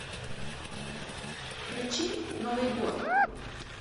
включи новый год